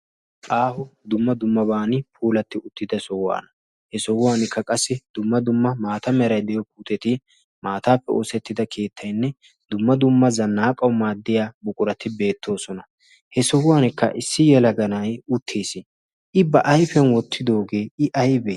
aaho dumma dummaban puulatti uttida sohuwaana. he sohuwankka qassi dumma dumma maata merai de7iyo puuteti maataappe oosettida keettainne dumma dumma zannaaqawu maaddiya buqurati beettoosona. he sohuwankka issi yalaganai uttiis. i ba aifiyan wottidoogee i aibee?